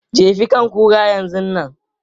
Jefi kan kuran yanzun nan!